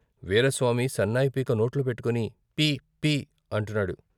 వీరస్వామి సన్నాయి పీక నోట్లో పెట్టుకుని పీ పీ అంటున్నాడు.